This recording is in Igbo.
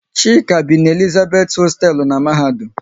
Chika bi n'Elizabeth hosteelu n'mahadum